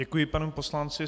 Děkuji panu poslanci.